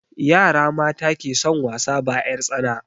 Yara mata ke son wasa ba 'yar tsana